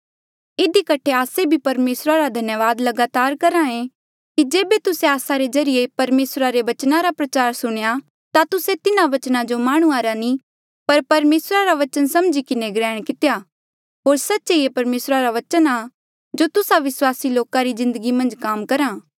इधी कठे आस्से भी परमेसरा रा धन्यावाद लगातार करहा ऐें कि जेबे तुस्से आस्सा रे ज्रीए परमेसरा रा बचन रा प्रचार सुणेया ता तुस्से तिन्हा बचना जो माह्णुंआं रा नी पर परमेसरा रा बचन समझी किन्हें ग्रैहण कितेया होर सच्चे ये परमेसरा रा बचन आ जो तुस्सा विस्वासी लोका री जिन्दगी मन्झ काम करहा